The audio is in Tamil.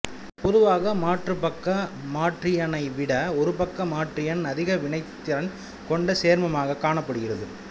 பொதுவாக மாறுபக்க மாற்றியனைவிட ஒருபக்க மாற்றியன் அதிக வினைத்திறன் கொண்ட சேர்மமாக காணப்படுகிறது